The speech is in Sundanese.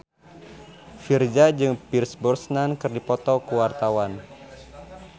Virzha jeung Pierce Brosnan keur dipoto ku wartawan